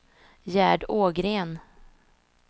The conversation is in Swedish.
Gerd Ågren